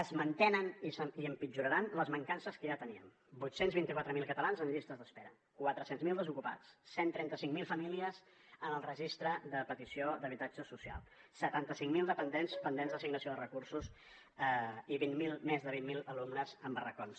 es mantenen i empitjoraran les mancances que ja teníem vuit cents i vint quatre mil catalans en llistes d’espera quatre cents miler desocupats cent i trenta cinc mil famílies en el registre de petició d’habitatge social setanta cinc mil dependents pendents d’assignació de recursos i més de vint miler alumnes en barracons